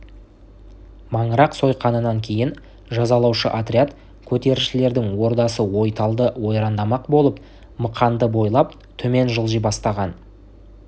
маңырақ сойқанынан кейін жазалаушы отряд көтерілісшілердің ордасы ойталды ойрандамақ болып мықанды бойлап төмен жылжи бастаған